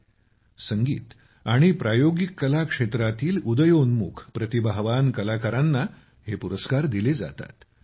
संगीत आणि प्रायोगिक कला परफॉर्मिंग आर्ट्स क्षेत्रातील उदयोन्मुख प्रतिभावान कलाकारांना हे पुरस्कार दिले जातात